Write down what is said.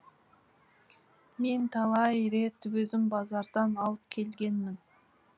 мен талай рет өзім базардан алып келгенмін